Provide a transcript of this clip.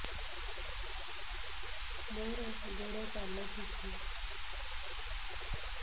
ମୋର ଗୋଡ଼ ପାଲଟିଛି